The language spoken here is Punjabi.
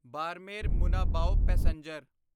ਬਾਰਮੇਰ ਮੁਨਾਬਾਓ ਪੈਸੇਂਜਰ